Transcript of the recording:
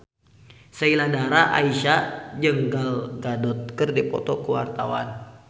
Sheila Dara Aisha jeung Gal Gadot keur dipoto ku wartawan